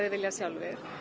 vilja